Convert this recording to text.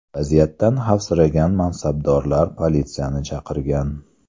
Vaziyatdan xavfsiragan mansabdorlar politsiyani chaqirgan.